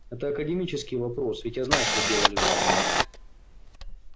это академический вопрос ведь я знаю что сделали вы